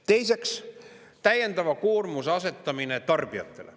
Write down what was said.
Teiseks, täiendava koormuse asetamine tarbijatele.